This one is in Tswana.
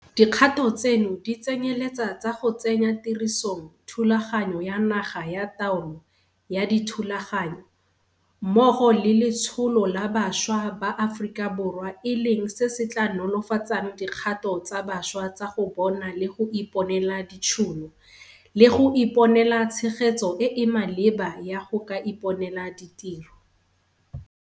Dikgato tseno di tsenyeletsa tsa go tsenya tirisong Thulaganyo ya Naga ya Taolo ya Dithulaganyo mmogo le Letsholo la Bašwa ba Aforika Borwa e leng se se tla nolofatsang dikgato tsa bašwa tsa go bona le go iponela ditšhono le go iponela tshegetso e e maleba ya go ka iponela ditiro.